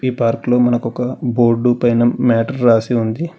ఈ పార్క్ లో మనకు ఒక బోర్డు పైన మేటర్ రాసి ఉంది.